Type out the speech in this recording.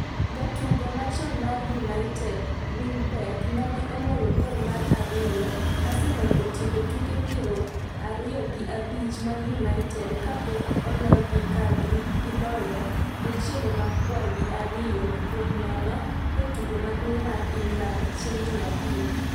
Jatugo machon mar United Welbeck nene oloyo gol mar ariyo Arsenal otieko tuke piero ariyo gi abich mag Manchester United ka pok ologi ka giloyo jochiende marakwar gi ariyo kuom nono e tugo maduong'mar England chieng' jumapil